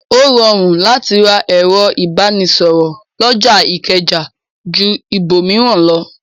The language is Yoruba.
Ó rọrùn láti ra ẹ̀rọ̀ ìbánisọ̀rọ̀ lọjà ìkẹjà ju ibòmíràn lọ.